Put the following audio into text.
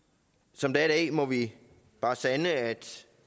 som det er i dag må vi bare sande at